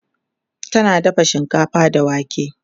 tana dafa shinkafa da wake